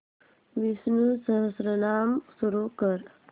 विष्णु सहस्त्रनाम सुरू कर